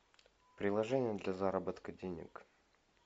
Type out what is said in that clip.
приложение для заработка денег